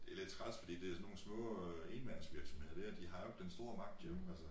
Det lidt træls fordi det sådan nogle små øh enmandsvirksomheder dér de har jo ikke den store magt jo